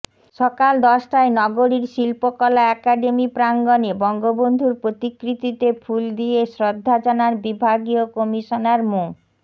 সকাল দশটায় নগরীর শিল্পকলা একাডেমি প্রাঙ্গনে বঙ্গবন্ধুর প্রতিকৃতিতে ফুল দিয়ে শ্রদ্ধা জানান বিভাগীয় কমিশনার মো